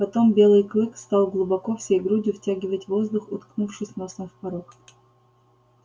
потом белый клык стал глубоко всей грудью втягивать воздух уткнувшись носом в порог